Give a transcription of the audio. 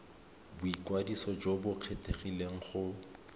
boikwadiso jo bo kgethegileng go